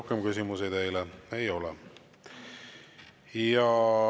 Rohkem küsimusi teile ei ole.